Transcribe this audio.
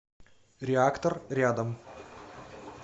реактор рядом